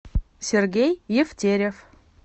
сергей евтерев